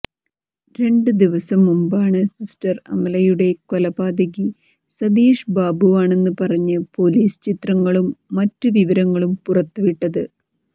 രണ്ട് ദിവസം മുമ്പാണ് സിസ്റ്റർ അമലയുടെ കൊലപാതകി സതീഷ് ബാബുവാണെന്ന് പറഞ്ഞ് പൊലീസ് ചിത്രങ്ങളും മറ്റ് വിവരങ്ങളും പുറത്തുവിട്ടത്